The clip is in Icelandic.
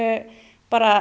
bara